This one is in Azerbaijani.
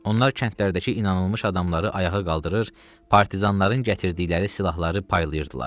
Onlar kəndlərdəki inanılmış adamları ayağa qaldırır, partizanların gətirdikləri silahları paylayırdılar.